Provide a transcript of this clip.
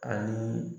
Ani